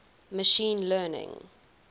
machine learning